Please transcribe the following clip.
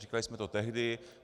Říkali jsme to tehdy.